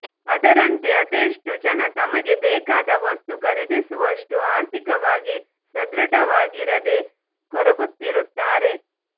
ಅದರಂತೆ ಅದೆಷ್ಟೋ ಜನ ತಮಗೆ ಬೇಕಾದ ವಸ್ತು ಖರೀದಿಸುವಷ್ಟು ಆರ್ಥಿಕವಾಗಿ ಸದೃಢವಾಗಿರದೇ ಕೊರಗುತ್ತಿರುತ್ತಾರೆ